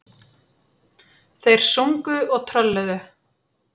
Þeir sungu og trölluðu.